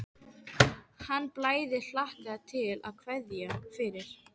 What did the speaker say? Hann bæði hlakkaði til og kveið fyrir.